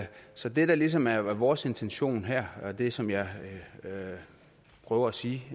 så det der ligesom er vores intention her og det som jeg prøver at sige